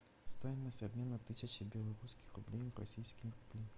стоимость обмена тысячи белорусских рублей в российские рубли